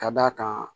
Ka d'a kan